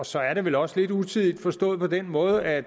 så er det vel også lidt utidigt forstået på den måde at